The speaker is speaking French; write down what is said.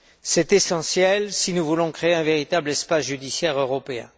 C'est essentiel si nous voulons créer un véritable espace judiciaire européen.